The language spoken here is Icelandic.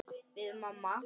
Við mamma.